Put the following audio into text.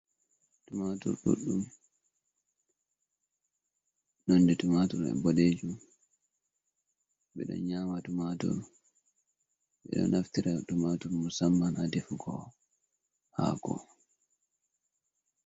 Tumatur duddum, nonde tumatur mai bodejum, bido nyama tumatur, bedo naftira tumatur musamman ha defugo hako.